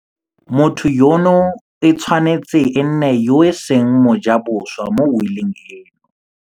Motho yono e tshwanetse e nne yo e seng mojaboswa mo wiling eno.